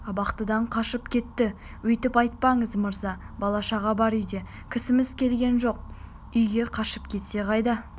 абақтыдан қашып кетті өйтіп айтпаңыз мырза бала-шаға бар үйде кісіміз келген жоқ үйге қашып кетсе қайда